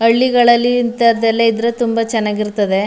ಹಳ್ಳಿಗಳಲ್ಲಿ ಇಂಥದೆಲ್ಲ ಇದ್ರೆ ತುಂಬಾ ಚೆನ್ನಗಿ ಇರ್ತದೆ.